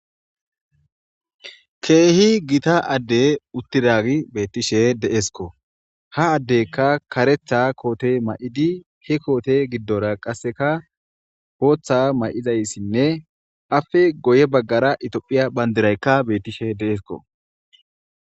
Keehi gita addey utti daagi beettishe de'esko ha addeykka karetha koote ma'idi he koote giddora qasseka hooththa may'izayssinne afe goye baggara itophiya bandiraykka bettishe deesko.